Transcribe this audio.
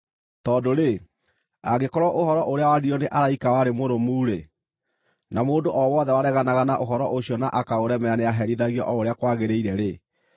Tondũ-rĩ, angĩkorwo ũhoro ũrĩa waririo nĩ araika warĩ mũrũmu-rĩ, na mũndũ o wothe wareganaga na ũhoro ũcio na akaũremera nĩaherithagio o ũrĩa kwagĩrĩire-rĩ,